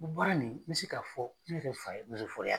O baara nin n bɛ se k'a fɔ ne yɛrɛ fa ye kɛ.